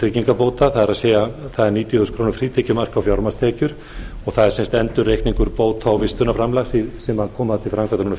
tryggingabóta það er það er níutíu þúsund króna frítekjumark á fjármagnstekjur og það er sem sagt endurreikningur bóta og vistunarframlags sem koma til framkvæmda